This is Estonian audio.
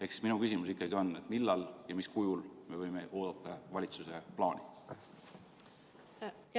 Ehk minu küsimus on järgmine: millal ja mis kujul me võime oodata valitsuse plaani?